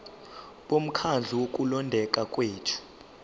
bomkhandlu wokulondeka kwethu